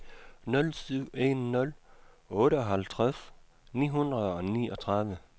nul syv en nul otteoghalvtreds ni hundrede og niogtredive